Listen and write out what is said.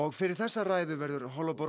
fyrir þessa ræðu verður